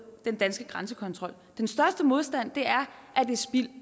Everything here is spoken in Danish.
den danske grænsekontrol den største modstand er at det er spild